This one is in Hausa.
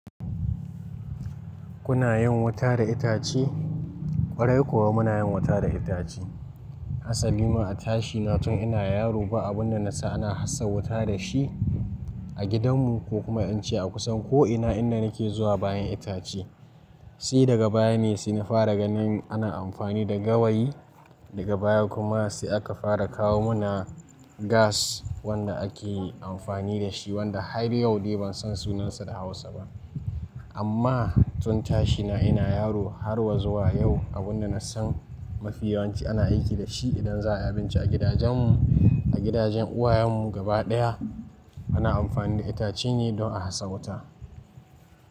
Kuna yin wuta da itace? Kwarai kuwa muna yin wuta da itace. Asali ma a tashi na tun ina yaro ba abun da na san ana hasa wuta da shi a gidanmu ko kuma in ce a kusan ko ina inda nake zuwa bayan itace. Sai daga baya ne sai ne fara ganin ana amfani da gawayi, daga baya kuma sai aka fara kawo mana gas wanda ake amfani da shi wanda har yau dai ban san sunansa da Hausa ba. Amma tun tashi na ina yaro har wa zuwa yau abin da na san mafi yawanci ana aiki da shi idan za a yi abinci a gidajenmu, a gidajen uwayenmu gaba ɗaya ana amfani da itace ne don a hasa wuta.